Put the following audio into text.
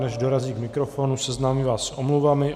Než dorazí k mikrofonu, seznámím vás s omluvami.